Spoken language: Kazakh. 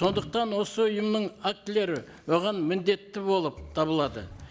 сондықтан осы ұйымның актілері оған міндетті болып табылады